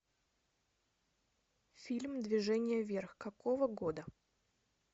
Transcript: фильм движение вверх какого года